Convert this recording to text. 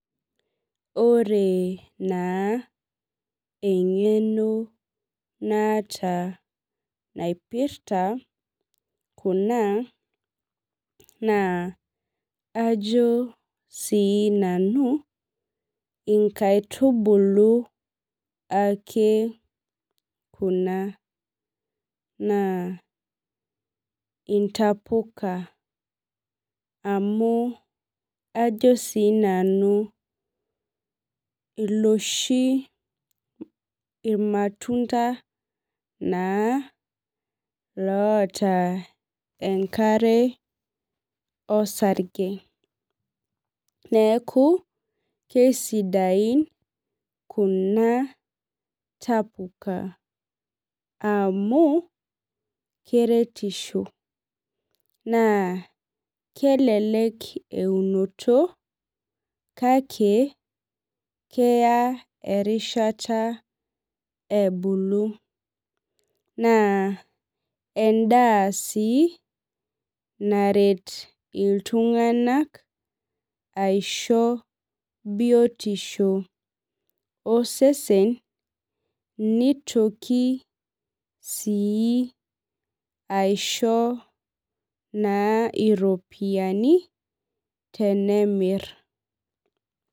Ore naa eng'eno naata naipirta kuna naa ajo sii nanu inkaitubulu ake kuna naa intapuka amuu ajo sii nanu iloshi ormatunda naa loota enkare orsage. Neeku keisidain kulo tapuka amu keretisho naa kelelek eunoto kake keya erishata ebulu naa edaa sii naret iltung'ana aisho biotisho osesen nitoki sii aisho naa iropiani tenemir.